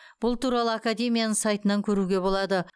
бұл туралы академияның сайтынан көруге болады